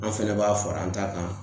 An fɛnɛ b'a fara an ta kan